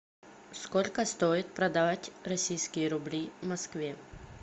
сколько стоит продать российские рубли в москве